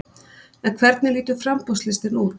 En hvernig lítur framboðslistinn út?